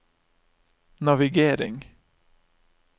navigering